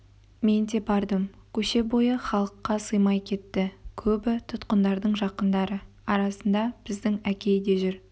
мен де бардым көше бойы халыққа сыймай кетті көбі тұтқындардың жақындары арасында біздің әкей де жүр